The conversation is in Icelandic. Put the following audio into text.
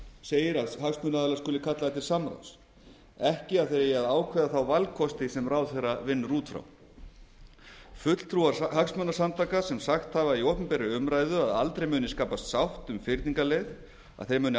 segir að hagsmunaaðilar skuli kallaðir til samráðs ekki að þeir eigi að ákveða þá valkosti sem ráðherra vinnur út frá fulltrúar hagsmunasamtaka sem sagt hafa í opinberri umræðu að aldrei muni skapast sátt um fyrningarleið að þeir muni